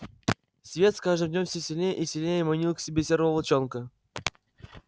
свет с каждым днём все сильнее и сильнее манил к себе серого волчонка